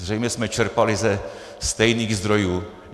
Zřejmě jsme čerpali ze stejných zdrojů.